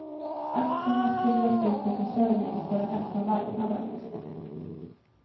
Aktierna ska bjudas ut till försäljning på den öppna marknaden.